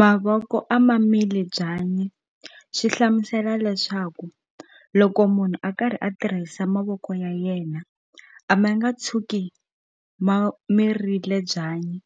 Mavoko a ma mili byanyi swi hlamusela leswaku loko munhu a karhi a tirhisa mavoko ya yena a ma nga tshuki ma mirile byanyi